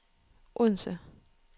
Odense